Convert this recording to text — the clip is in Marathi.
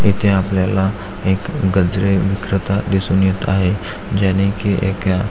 इथे आपल्याला एक गजरे विक्रेता दिसून येत आहे ज्यानी की एका--